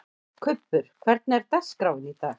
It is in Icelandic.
Kubbur, hvernig er dagskráin í dag?